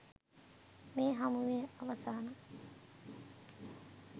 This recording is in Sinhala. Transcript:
මේ හමුවේ අවසන